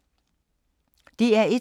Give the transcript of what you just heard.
DR1